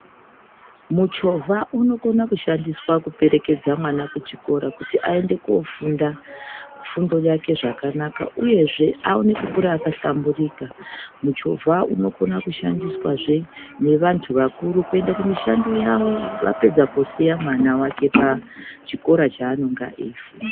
Muchovha unokona kushandiswa kuperekedza mwana kuchikora kuti aende koofunda fundo yake zvakanaka uyezve aone kukura akahlamburika. Muchovha unokona kushandiswazve nevantu vakuru kuenda kumishando yavo vapedza kusiya mwana wake pachikora chaanenga eifunda.